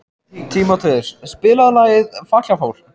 Tímóteus, spilaðu lagið „Fatlafól“.